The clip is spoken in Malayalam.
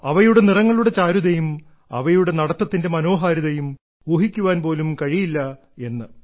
അവയുടെ നിറങ്ങളുടെ ചാരുതയും അവയുടെ നടത്തത്തിന്റെ മനോഹാരിതയും ഊഹിക്കാൻ പോലും കഴിയില്ല എന്ന്